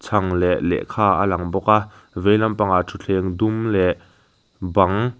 chhang leh lehkha a lang bawk a vei lampang ah thutthleng dum leh bang --